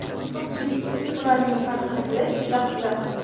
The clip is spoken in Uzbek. Ko‘pchilik uchun ularning farqini bilish juda qiziq.